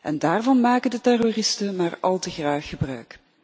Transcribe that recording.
En daarvan maken de terroristen maar al te graag gebruik.